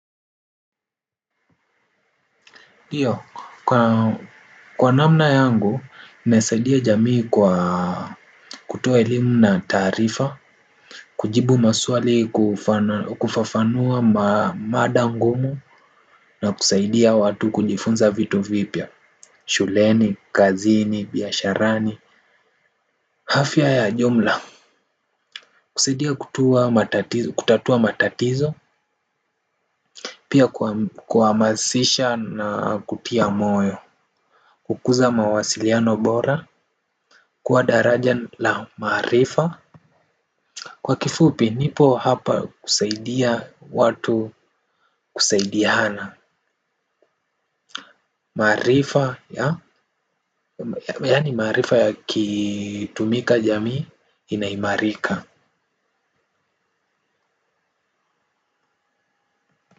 Iyo, kwa namna yangu, nasaidia jamii kwa kutoa elimu na tarifa. Kujibu maswali kufafanua mada ngumu na kusaidia watu kujifunza vitu vipia. Shuleni, kazini, biyasharani hafia ya jumla. Kusaidia kutua matatizo, kutatua matatizo. Pia kwa masisha na kutia moyo kukuza mawasiliano bora. Kuwa daraja la marifa. Kwa kifupi nipo hapa kusaidia watu kusaidihana. Marifa ya yani marifa ya kitumika jamii inaimarika.